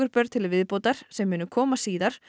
börn til viðbótar sem koma síðar